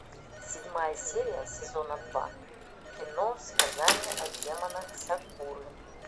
седьмая серия сезона два кино сказание о демонах сакуры